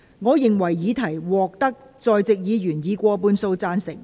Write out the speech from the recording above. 我認為議題獲得在席議員以過半數贊成。